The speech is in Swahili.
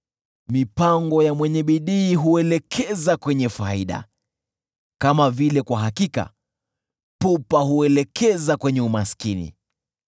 Mipango ya mwenye bidii huelekeza kwenye faida, kama vile kwa hakika pupa huelekeza kwenye umaskini.